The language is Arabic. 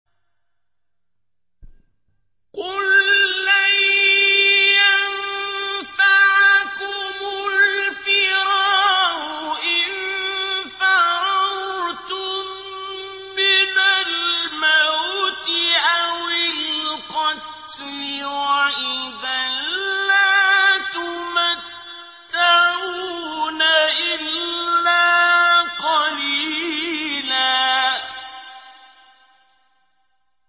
قُل لَّن يَنفَعَكُمُ الْفِرَارُ إِن فَرَرْتُم مِّنَ الْمَوْتِ أَوِ الْقَتْلِ وَإِذًا لَّا تُمَتَّعُونَ إِلَّا قَلِيلًا